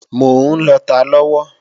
Mò ń lọta lọ́wọ́